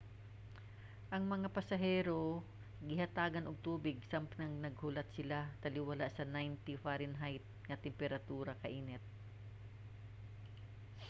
ang mga pasahero gihatagan og tubig samtang naghulat sila taliwala sa 90 fahrenheit nga temperatura kainit